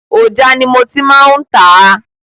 Òja ni mo tí má ń tà a.